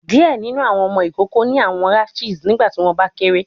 Diẹ ninu awọn ọmọ ikoko ni awọn rashes nigbati wọn ba kere